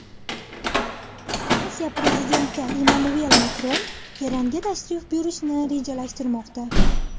Fransiya prezidenti Emmanuel Makron Eronga tashrif buyurishni rejalashtirmoqda.